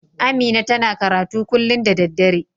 Amina ta na karatu kullun da dare.